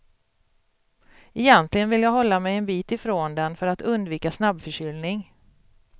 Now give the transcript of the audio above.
Egentligen vill jag hålla mig en bit ifrån den för att undvika snabbförkylning.